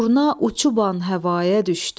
Durna uçuban həvaya düşdü,